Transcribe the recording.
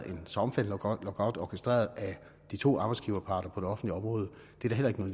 en så omfattende lockout orkestreret af de to arbejdsgiverparter på det offentlige område